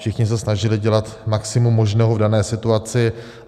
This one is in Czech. Všichni se snažili dělat maximum možného v dané situaci.